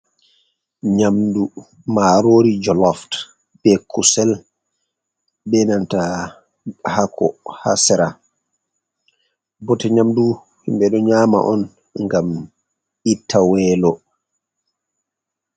Nyamdu maaroori joloof, be kusel, be nanta haako haa sera. Bote nyamdu himɓe ɗo nyaama on, ngam itta weelo.